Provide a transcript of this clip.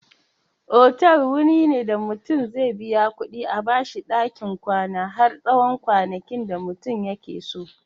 Otal wuri ne da mutum zai biya kuɗi a bashi ɗakin kwana har tsawon kwanakin da mutum yakeso.